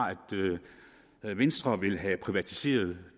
at venstre vil have privatiseret